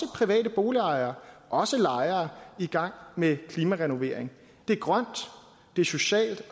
private boligejere og lejere i gang med klimarenovering det er grønt det er socialt